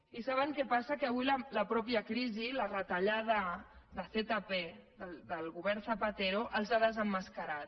i saben què passa que avui la mateixa crisi la retallada de zp del govern zapatero els ha desemmascarat